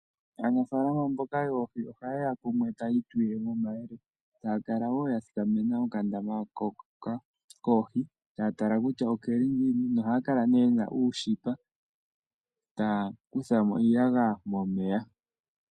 Aanafaalama mboka yoohi ohayeya kumwe taya itulilemo omayele taya kala wo yathikamena okandama hoka koohi taya tala kutya okeli ngiini. Ohaya kala nee yena uushipa taya kutha mo iiyagaya momeya.